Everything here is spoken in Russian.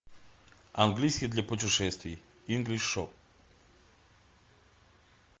английский для путешествий инглиш шоп